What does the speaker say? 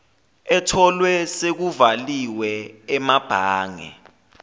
etholwe sekuvaliwe emabhange